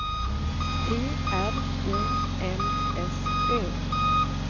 T R O M S Ö